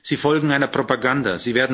Sie folgen einer Propaganda.